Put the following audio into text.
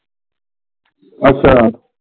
ਅੱਛਾ।